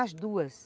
As duas.